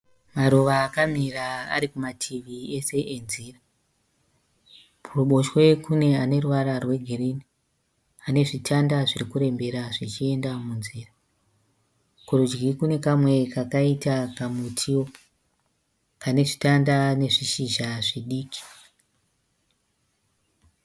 Maruva akamira arikumativi ese e nzira. Kuruboshwe kune aneruvara rwe girinhi anezvitanda zvirikurembera zvichienda munzira. Kurudyi kune kamwe kaita kamutiwo kanezvitanda nezvishizha zvidiki.